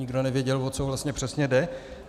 Nikdo nevěděl, o co vlastně přesně jde.